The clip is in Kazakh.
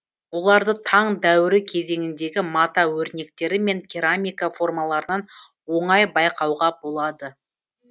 оларды таң дәуірі кезеңіндегі мата өрнектері мен керамика формаларынан оңай байқауға болады